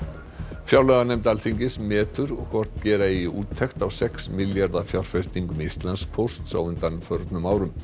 fjárlaganefnd Alþingis metur hvort gera eigi úttekt á sex milljarða fjárfestingum Íslandspóst á undanförnum árum